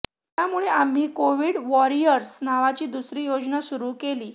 त्यामुळे आम्ही Covid warriors नावाची दुसरी योजना सुरू केली